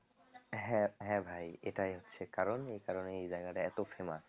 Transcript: হ্যাঁ হ্যাঁ ভাই এটাই হচ্ছে কারণ এই কারণে এই জায়গাটা এত famous